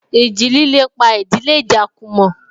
Ìjì líle pa ìdílé Ijakumo